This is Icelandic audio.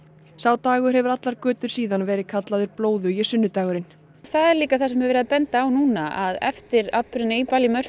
dagurinn hefur allar götur síðan verið kallaður blóðugi sunnudagurinn það er líka það sem er verið að benda á núna að eftir atburðina í